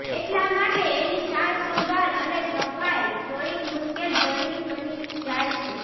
એટલા માટે એની સારસંભાળ અને સફાઈ થોડીક મુશ્કેલભરી બની જાય છે